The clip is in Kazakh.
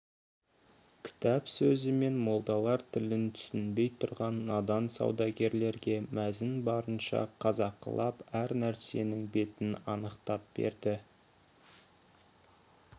кітап сөзі мен молдалар тілін түсінбей тұрған надан саудагерлерге мәзін барынша қазақылап әр нәрсенің бетін анықтап берді